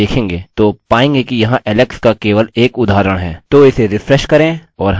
और यदि आप यहाँ देखेंगे तो पाएँगे कि यहाँ alex का केवल एक उदाहरण है